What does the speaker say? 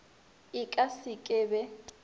e ka se ke be